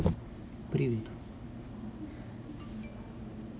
привет